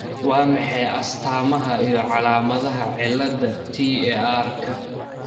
Waa maxay astamaha iyo calaamadaha cilada TARka